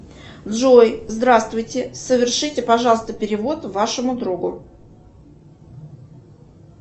джой здравствуйте совершите пожалуйста перевод вашему другу